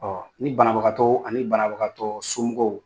Ɔɔ ni banabagatɔw ani banabagakatɔ somɔgɔw